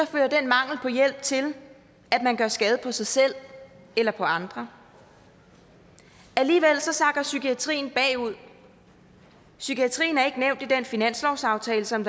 fører den mangel på hjælp til at man gør skade på sig selv eller på andre alligevel sakker psykiatrien bagud psykiatrien er ikke nævnt i den finanslovsaftale som